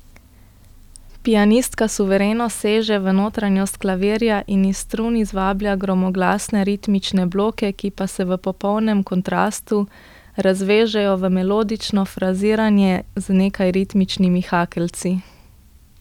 Pianistka suvereno seže v notranjost klavirja in iz strun izvablja gromoglasne ritmične bloke, ki pa se v popolnem kontrastu razvežejo v melodično fraziranje z nekaj ritmičnimi hakeljci.